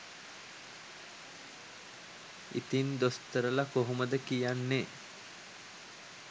ඉතිං දොස්තරලා කොහොමද කියන්නේ